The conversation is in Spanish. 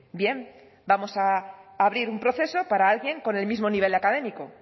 bien vamos a abrir un proceso para alguien con el mismo nivel académico